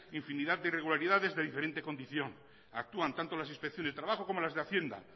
infinidad de irregularidades de diferente condición actúan tanto las inspecciones de trabajo como las de hacienda